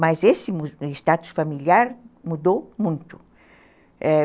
Mas esse status familiar mudou muito.